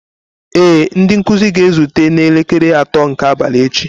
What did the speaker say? Ee, ndị nkuzi ga-ezute n'elekere atọ nke abalị echi.